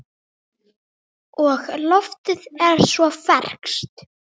Og loftið er svo ferskt.